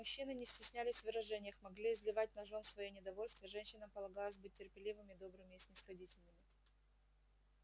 мужчины не стеснялись в выражениях могли изливать на жён своё недовольство женщинам полагалось быть терпеливыми добрыми и снисходительными